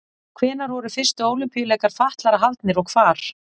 Hvenær voru fyrstu Ólympíuleikar fatlaðra haldnir og hvar?